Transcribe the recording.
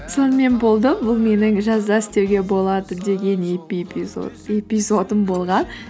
сонымен болды бұл менің жазда істеуге болады деген эпизодым болған